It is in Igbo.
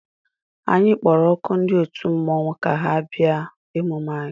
Anyị kpọrọ oku ndị otu mmọnwụ ka ha bịa emume anyị.